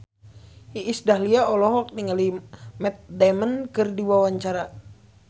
Iis Dahlia olohok ningali Matt Damon keur diwawancara